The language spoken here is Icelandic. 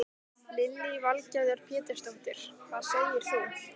Lillý Valgerður Pétursdóttir: Hvað segir þú?